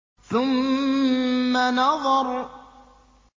ثُمَّ نَظَرَ